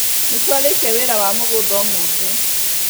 Nĩtwarĩkia wĩra wa mũgũnda ũmũthĩ